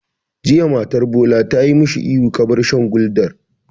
Jiya matar Bola ta ma shi ihu 'Ka bar shan Gulder'!